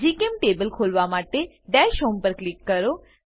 જીચેમ્ટેબલ ખોલવા માટે દશ હોમ પર ક્લિક કરો